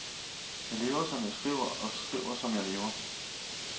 Jeg lever som jeg skriver og skriver som jeg lever.